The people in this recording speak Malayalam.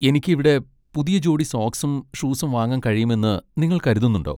എനിക്ക് ഇവിടെ പുതിയ ജോഡി സോക്സും ഷൂസും വാങ്ങാൻ കഴിയുമെന്ന് നിങ്ങൾ കരുതുന്നുണ്ടോ?